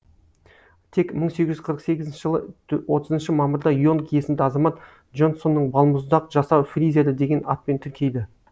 тек мың сегіз жүз қырық сегізінші жылы отызыншы мамырда и онг есімді азамат джонсонның балмұздақ жасау фризері деген атпен тіркейді